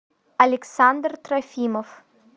александр трофимов